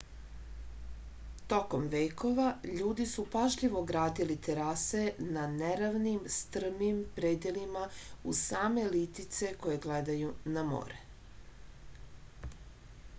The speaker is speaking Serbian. tokom vekova ljudi su pažljivo gradili terase na neravnim strmim predelima uz same litice koje gledaju na more